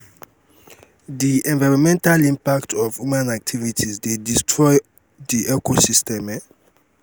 di environmental impact of human activities dey destroy di ecosystem um